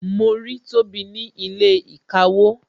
Mo rí tobi ní ilé ìkawó